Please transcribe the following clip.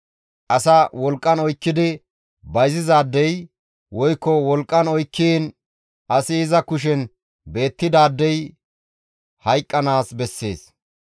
«Asa wolqqan oykkidi bayzizaadey woykko wolqqan oykkiin asi iza kushen beettidaadey hayqqanaas bessees.